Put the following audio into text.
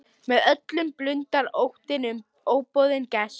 Með öllum blundar óttinn um óboðinn gest.